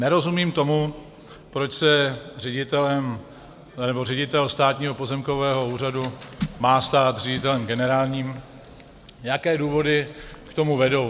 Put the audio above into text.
Nerozumím tomu, proč se ředitel Státního pozemkového úřadu má stát ředitelem generálním, jaké důvody k tomu vedou.